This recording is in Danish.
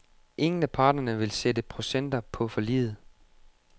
Ingen af parterne vil sætte procenter på forliget.